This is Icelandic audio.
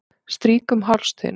Strýk um háls þinn.